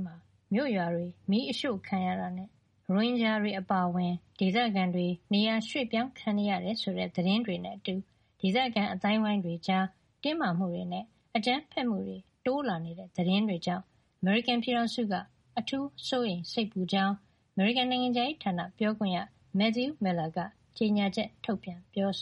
မှာ မြို့ရွာတွေမီးအရှို့ခံရတာနဲ့ ရိုဟင်ဂျာတွေအပါအဝင် ဒေသခံတွေ နေရာရွှေ့ပြောင်းခံနေရတယ်ဆိုတဲ့ သတင်းတွေနဲ့အတူ ဒေသခံ အသိုင်းဝိုင်းတွေကြား အကြမ်းဖက်မှုတွေ တိုးလာနေတဲ့သတင်းတွေကြောင့်အထူးစိုးရိမ်စိတ်ပူကြောင်း အမေရိကန် နိုင်ငံခြားရေးဌာနပြောခွင့်ရ Matthew Miller က ကြေညာချက်ထုတ်ပြန်ပါတယ်။